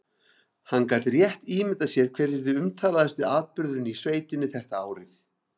Hann gat rétt ímyndað sér hver yrði umtalaðasti atburðurinn í sveitinni þetta árið.